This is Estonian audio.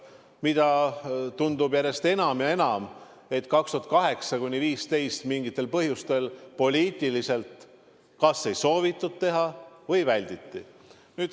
Järjest enam tundub, et aastail 2008–2015 mingitel põhjustel poliitiliselt ei soovitud seda teha, seda välditi.